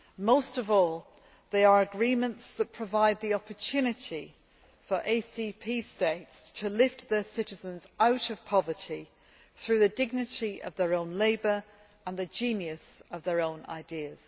Most of all, they are agreements that provide the opportunity for ACP States to lift their citizens out of poverty through the dignity of their own labour and the genius of their own ideas.